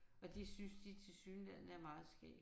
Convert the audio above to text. Og det synes de tilsyneladende er meget skægt